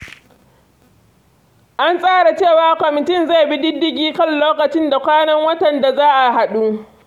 An tsara cewa kwamitin zai bi diddigin kan lokacin da kwanan wata da za a haɗu.